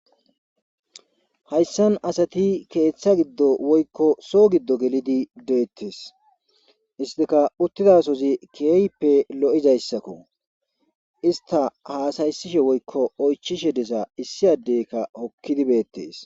Hayssan asati keeththa giddo woykko so giddo gelidi deettees istika uttidasozi kieyippe lo7izayssakko ista haasayssishe woykko oychishe desa issi addeyka hokkidi beettees